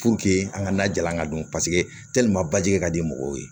an ka na jalan ka don paseke baji ka di mɔgɔw ye